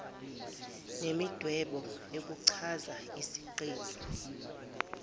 nemidwebo ukuchaza isiqephu